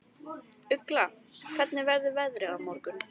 Ugla, hvernig verður veðrið á morgun?